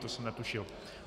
To jsem netušil.